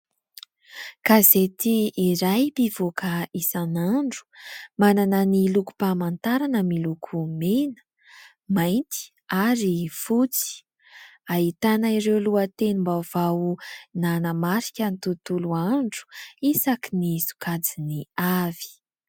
Gazety iray mpivoaka isan'andro manana ny lokom-pamantarana miloko mena, mainty ary fotsy. Ahitana ireo lohatenim-baovao nanamarika ny tontolo andro isakiny sokajiny avy.